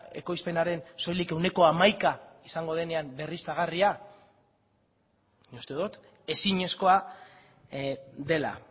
ekoizpenaren soilik ehuneko hamaika izango denean berriztagarria nik uste dut ezinezkoa dela